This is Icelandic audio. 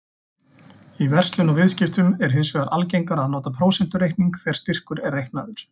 Í verslun og viðskiptum er hins vegar algengara að nota prósentureikning þegar styrkur er reiknaður.